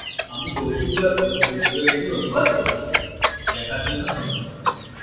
আমি কৌশিক দত্ত tutorials অনুবাদ করেছি দেখার জন্য ধন্যবাদ